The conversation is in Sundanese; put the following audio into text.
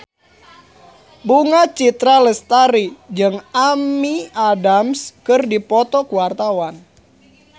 Bunga Citra Lestari jeung Amy Adams keur dipoto ku wartawan